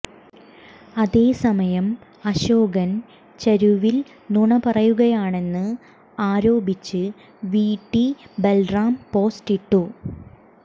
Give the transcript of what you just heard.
അതെസമയം അശോകൻ ചരുവിൽ നുണ പറയുകയാണെന്ന് ആരോപിച്ച് വിടി ബൽറാം പോസ്റ്റിട്ടു